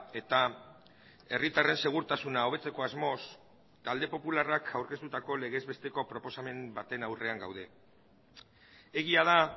eta herritarren segurtasuna hobetzeko asmoz talde popularrak aurkeztutako legez besteko proposamen baten aurrean gaude egia da